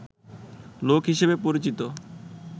লোক হিসেবে পরিচিত